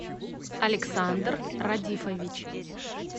александр радифович